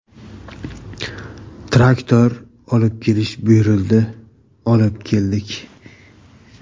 Traktor olib kelish buyurildi olib keldik.